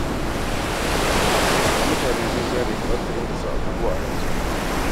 Da mutane sun gane ba za sun dinga sanya abubuwa a ransu ba.